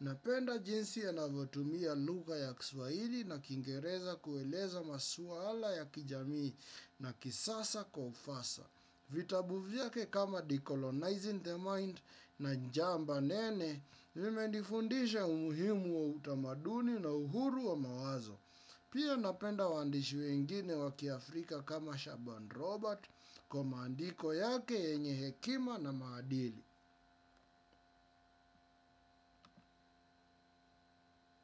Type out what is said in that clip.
Napenda jinsi anavyotumia lugha ya kiswahili na kingereza kueleza maswaala ya kijamii na kisasa kwa ufasa. Vitabu vyake kama decolonizing the mind na njamba nene vime nifundisha umuhimu wa utamaduni na uhuru wa mawazo. Pia napenda wandishi wengine wakiafrika kama Shaban Robert, kwa mandiko yake yenye hekima na maadili.